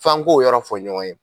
F'an k'o yɔrɔ fɔ ɲɔgɔn ye.